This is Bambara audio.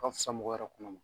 A ka fisa mɔgɔ yɛrɛ kɔnɔ ma